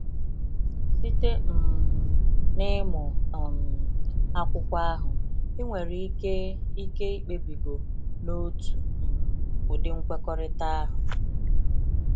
Site um n’ịmụ um akwụkwọ ahụ, i nwere ike ike ikpebigo n'otu um ụdị nkwekọrịta ahụ.